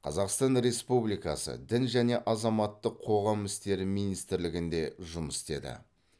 қазақстан республикасы дін және азаматтық қоғам істері министрлігінде жұмыс істеді